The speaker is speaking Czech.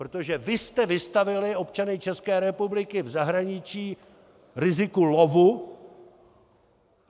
Protože vy jste vystavili občany České republiky v zahraničí riziku lovu.